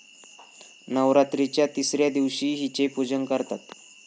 नवरात्राच्या तिसऱ्या दिवशी हिचे पुजन करतात.